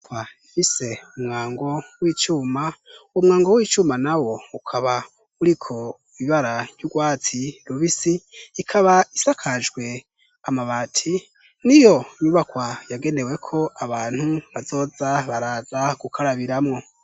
Inyubakwa fise umwango w'icuma, uwo mwango w'icuma nawo ukaba uriko ibara ry'urwatsi rubisi, ikaba isakajwe amabati, n'iyo nyubakwa yagenewe ko abantu bazoza baraza gukarabiramwo.